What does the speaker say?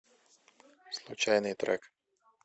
случайный трек